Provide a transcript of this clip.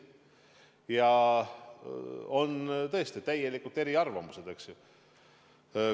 Ja tõesti, on täiesti erinevaid arvamusi.